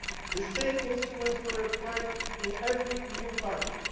The same instruments were applied in every EU budget.